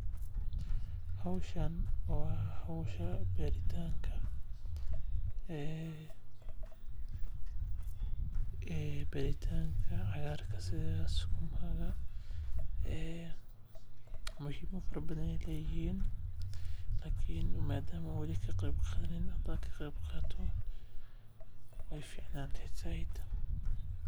Howshan waa howsha beeritanka cagaarka sida sukumaga muhimad fara badan ayeey leeyihiin lakin madama aan weli ka qeyb qadanin hadaan ka qeyb qaato waay ficnaan leheed sait.